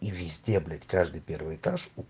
и везде блять каждый первый этаж